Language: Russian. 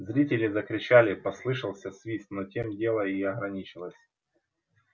зрители закричали послышался свист но тем дело и ограничилось